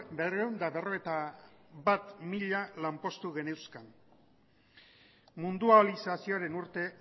berrehun eta berrogeita bat mila lanpostu geneuzkan mundializazioaren urte